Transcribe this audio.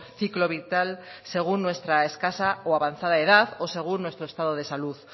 ciclo vital según nuestra escasa o avanzada edad o según nuestro estado de salud